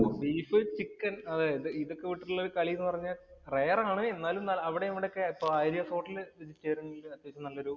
Beef, chicke ഇതൊക്കെ വിട്ടിട്ടുള്ള കളി എന്ന് പറഞ്ഞാൽ rare ആണ്. എന്നാലും എന്നാലും അവിടെ ഇവിടെയൊക്കെ ഇപ്പോ ആര്യ hotel നല്ലൊരു